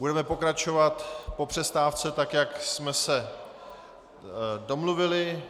Budeme pokračovat po přestávce, tak jak jsme se domluvili.